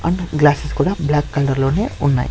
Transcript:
And glasses కూడా black colour లోనే ఉన్నాయ్.